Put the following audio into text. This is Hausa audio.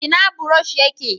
ina burosh ya ke?